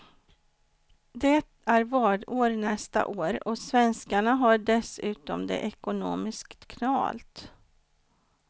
Det är valår nästa år, och svenskarna har dessutom det ekonomiskt knalt.